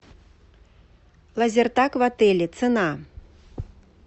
лазертаг в отеле цена